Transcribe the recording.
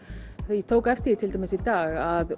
ég tók eftir því til dæmis í dag að